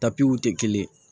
Tapiw te kelen ye